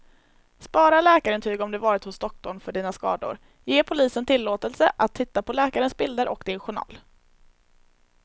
Spara läkarintyg om du varit hos doktorn för dina skador, ge polisen tillåtelse att titta på läkarens bilder och din journal.